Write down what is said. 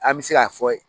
An bɛ se k'a fɔ